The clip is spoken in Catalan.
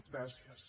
gràcies